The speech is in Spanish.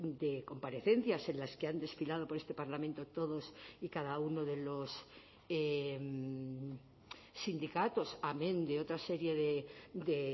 de comparecencias en las que han desfilado por este parlamento todos y cada uno de los sindicatos amén de otra serie de